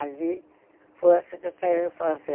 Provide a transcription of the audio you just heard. Ali, foi a Secretaria da Fazenda.